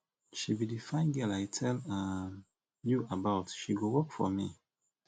she be the fine girl i tell um you about she go work for me